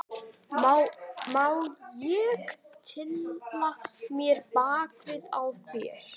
Má ég tylla mér bakið á þér?